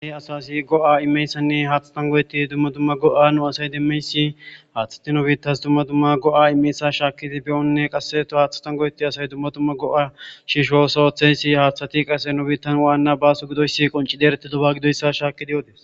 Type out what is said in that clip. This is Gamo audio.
ahe asasi go7a imeyssanne haatha tangoyeti dumma dumma go7a nu asay demmeysi haaththati nobiittas dumma dumma go7a imeyssa shaakidi beyonne qasseto haaththa tangoyeti asay dumma dumma go7a shishooso oththensi haaththati qase no biittan waanna baasu gidoyssi qonci dereti doba gidoyssa shaakidiyoodes